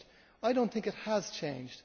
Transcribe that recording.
I do not think it has changed.